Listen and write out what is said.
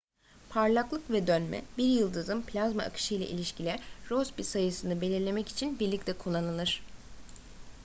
parlaklık ve dönme bir yıldızın plazma akışıyla ilişkili rossby sayısını belirlemek için birlikte kullanılır